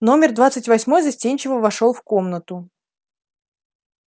номер двадцать восьмой застенчиво вошёл в комнату